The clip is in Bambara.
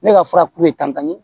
Ne ka fura kun ye tangani ye